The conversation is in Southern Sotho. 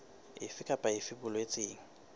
efe kapa efe e boletsweng